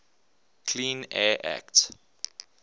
clean air act